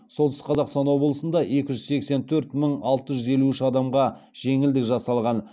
солтүстік қазақстан облысында екі жүз сексен төрт мың алты жүз елу үш адамға жеңілдік жасалған